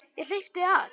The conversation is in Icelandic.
Ég hleypti af.